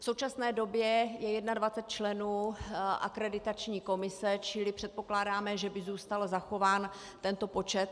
V současné době je 21 členů akreditační komise, čili předpokládáme, že by zůstal zachován tento počet.